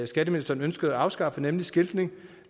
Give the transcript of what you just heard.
skatteministeren ønskede at afskaffe nemlig skiltning